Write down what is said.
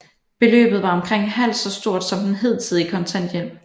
Beløbet var omkring halvt så stort som den hidtidige kontanthjælp